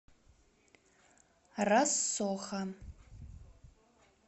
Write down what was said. рассоха